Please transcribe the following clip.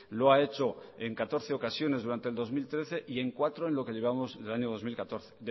lo ha hecho en catorce ocasiones durante el dos mil trece y en cuatro en lo que llevamos del año dos mil catorce